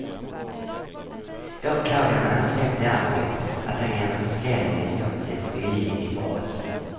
Åklagaren ansåg däremot att han genom försäljningen gjort sig skyldig till brott.